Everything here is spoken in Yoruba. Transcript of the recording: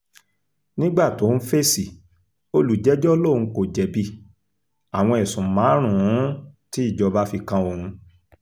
nígbà tó ń fèsì olùjẹ́jọ́ lòun kò jẹ̀bi àwọn ẹ̀sùn márùn-ún tí ìjọba fi kan òun